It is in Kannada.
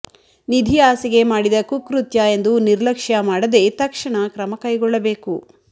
ನಿಧಿ ಆಸೆಗೆ ಮಾಡಿದ ಕುಕೃತ್ಯ ಎಂದು ನಿರ್ಲಕ್ಷ್ಯ ಮಾಡದೇ ತಕ್ಷಣ ಕ್ರಮ ಕೈಗೊಳ್ಳಬೇಕು